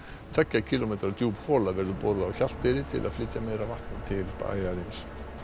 tveggja kílómetra djúp hola verður boruð á Hjalteyri til að flytja meira vatn til bæjarins